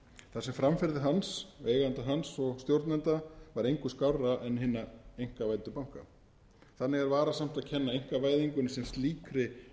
þar sem framferði hans eigenda hans og stjórnenda var engu skárra en hinna einkavæddu banka þannig er varasamt að kenna einkavæðingunni sem slíkri